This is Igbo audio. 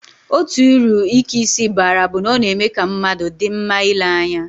Otu uru ike isi baara bụ na ọ na-eme ka mmadụ dị mma ile anya